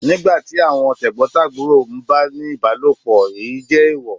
Nígbà tí àwọn t'ẹ̀gbọ̀ntàbúrò ń bá a ní ìbálòpọ̀, èyí jẹ́ èèwọ̀.